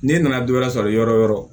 N'e nana dɔ wɛrɛ sɔrɔ yɔrɔ o yɔrɔ